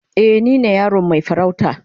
Eh, ni ne yaron mai farauta.